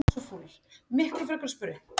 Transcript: Hlutfallið er minna í öðrum flokkum dýra.